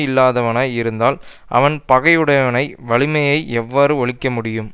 இல்லாதவனாய் இருந்தால் அவன் பகைவனுடைய வலிமையை எவ்வாறு ஒழிக்க முடியும்